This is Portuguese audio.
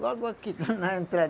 Logo aqui, na entrada.